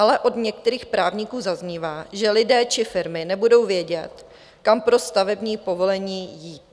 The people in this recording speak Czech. Ale od některých právníků zaznívá, že lidé či firmy nebudou vědět, kam pro stavební povolení jít.